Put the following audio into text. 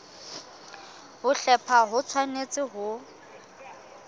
ho hlepha ho tshwanetse ho